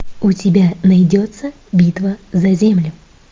у тебя найдется битва за землю